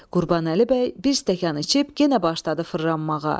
Qurbanəli bəy bir stəkan içib yenə başladı fırranmağa.